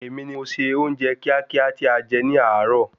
Èmi ni mo se oúnjẹ kíákíá tí a jẹ ní àáro